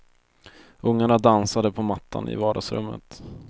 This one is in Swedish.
Ungarna dansade på mattan i vardagsrummet.